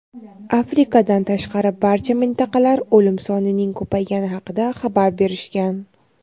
Afrikadan tashqari barcha mintaqalar o‘lim sonining ko‘paygani haqida xabar berishgan.